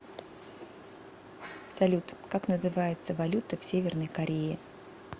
салют как называется валюта в северной корее